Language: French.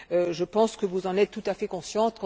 Je pense que vous en êtes tout à fait conscients.